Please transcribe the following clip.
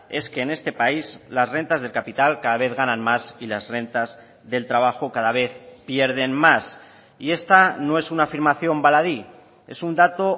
es que en este país las rentas del capital cada vez ganan más y las rentas del trabajo cada vez pierden más y esta no es una afirmación baladí es un dato